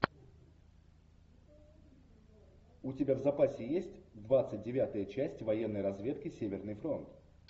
у тебя в запасе есть двадцать девятая часть военной разведки северный фронт